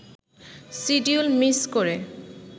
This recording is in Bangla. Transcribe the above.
শিডিউল মিস করে